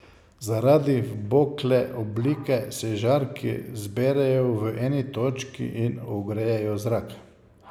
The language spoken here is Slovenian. Zaradi vbokle oblike se žarki zberejo v eni točki in ogrejejo zrak.